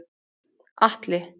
Atli